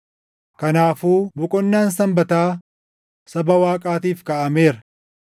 Kanaafuu boqonnaan Sanbataa saba Waaqaatiif kaaʼameera;